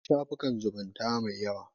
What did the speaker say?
Akwai shafukan zumunta mai yawa.